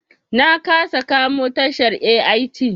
Na kasa kamo tashar AIT.